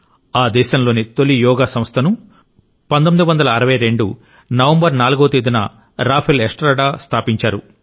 ఆ దేశంలోని తొలి యోగా సంస్థ ను 1962 నవంబర్ 4వ తేదీన రాఫెల్ ఎస్ట్రాడా స్థాపించారు